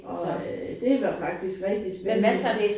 Og øh det var faktisk rigtig spændende